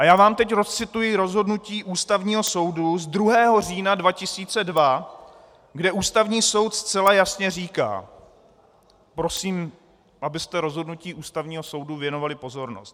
A já vám teď odcituji rozhodnutí Ústavního soudu z 2. října 2002, kde Ústavní soud zcela jasně říká prosím, abyste rozhodnutí Ústavního soudu věnovali pozornost.